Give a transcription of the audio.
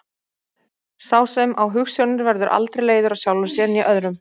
Sá sem á hugsjónir verður aldrei leiður á sjálfum sér né öðrum.